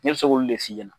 Ne bɛ se k'olu de f'i ɲɛna